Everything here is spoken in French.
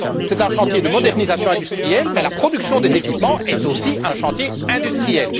C'est un chantier de modernisation industrielle, mais la production des équipements est aussi un chantier industriel.